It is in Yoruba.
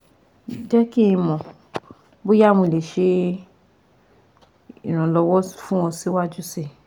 Jẹ ki n mọ boya mo le le ṣe iranlọwọ fun ọ siwaju sii